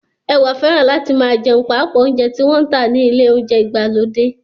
Ẹwà fẹ́ràn láti máa jẹun paapa óúnjẹ tí wọ́n ń tà ní ilé óúnjẹ ìgbàlódé